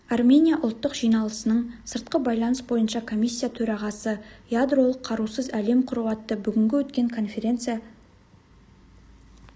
армения ұлттық жиналысының сыртқы байланыс бойынша комиссия төрағасы ядролық қарусыз әлем құру атты бүгінгі өткен конференция